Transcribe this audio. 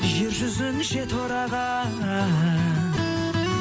жер жүзін жете ораған